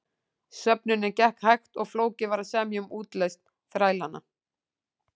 Söfnunin gekk hægt og flókið var að semja um útlausn þrælanna.